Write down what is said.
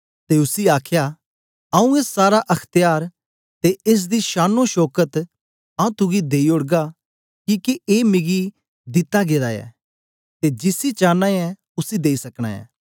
ते उसी आखया आऊँ ए सारा अख्त्यार ते एस दी शानोशौकत आऊँ तुगी देई ओड़गा किके ए मिगी दिता गेदा ऐ ते जिसी चांना ऐं उसी देई सकना ऐं